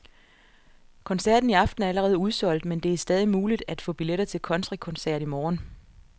Koncerten i aften er allerede udsolgt, men det er stadig muligt at få billetter til countrykoncert i morgen.